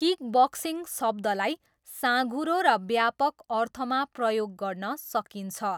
Kickboxing शब्दलाई साँघुरो र व्यापक अर्थमा प्रयोग गर्न सकिन्छ।